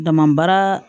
Dama baara